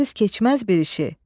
Mənsiz keçməz bir işi.